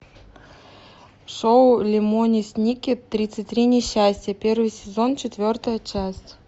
шоу лемони сникет тридцать три несчастья первый сезон четвертая часть